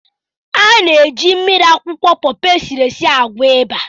Ana-eji mmiri akwụkwọ pọpọ esiri esi agwọ̀ ịba.